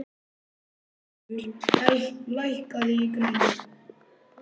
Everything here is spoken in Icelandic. Rafnhildur, lækkaðu í græjunum.